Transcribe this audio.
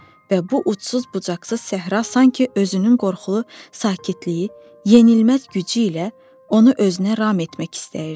Və bu ucsuz-bucaqsız səhra sanki özünün qorxulu sakitliyi, yenilməz gücü ilə onu özünə ram etmək istəyirdi.